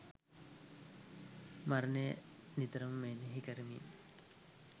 මරණය නිතරම මෙනෙහි කරමින්